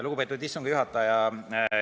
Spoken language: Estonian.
Lugupeetud istungi juhataja!